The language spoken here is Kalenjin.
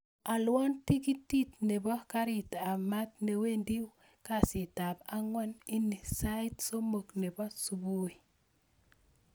Alwon tiketit nebo garit ab maat newendi kasitab ab angwan ini sait somok nebo subui